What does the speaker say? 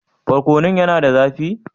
Barkonun yana da zafi?